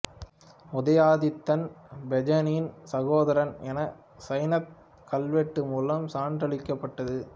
உதயாதித்தன் போஜனின் சகோதரன் என சைனத் கல்வெட்டு மூலம் சான்றளிக்கப்பட்டது